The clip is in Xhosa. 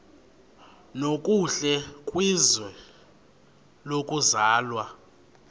nokuhle kwizwe lokuzalwa